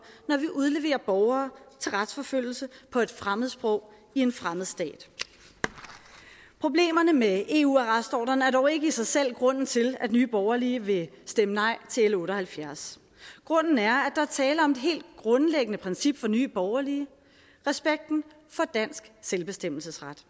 når vi udleverer borgere til retsforfølgelse på et fremmedsprog i en fremmed stat problemerne med eu arrestordren er dog ikke i sig selv grunden til at nye borgerlige vil stemme nej til l otte og halvfjerds grunden er at der er tale om et helt grundlæggende princip for nye borgerlige respekten for dansk selvbestemmelsesret